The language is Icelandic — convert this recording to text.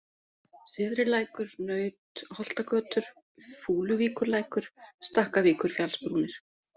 Syðrilækur, Nautholtagötur, Fúluvíkurlækur, Stakkavíkurfjallsbrúnir